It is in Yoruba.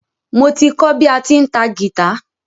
Mo ti kọ bí a ti ń ta gìtá.